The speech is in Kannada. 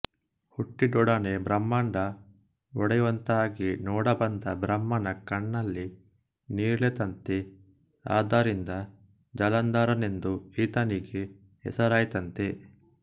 ಹುಟ್ಟಿದೊಡನೆ ಬ್ರಹ್ಮಾಂಡ ಒಡೆಯುವಂತಾಗಿ ನೋಡಬಂದ ಬ್ರಹ್ಮನ ಕಣ್ಣಲ್ಲಿ ನೀರಿಳಿಯಿತಂತೆ ಆದ್ದರಿಂದ ಜಲಂಧರನೆಂದು ಈತನಿಗೆ ಹೆಸರಾಯಿತಂತೆ